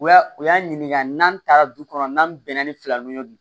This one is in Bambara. U y'a u y'an ɲininka n'an taara du kɔnɔ n'an bɛnna ni fila nunnu ye